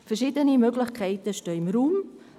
Verschiedene Möglichkeiten stehen im Raum.